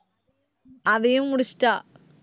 அதையும் முடிச்சிட்டா